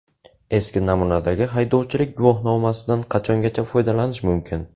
Eski namunadagi haydovchilik guvohnomasidan qachongacha foydalanish mumkin?.